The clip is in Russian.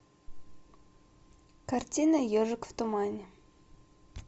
картина ежик в тумане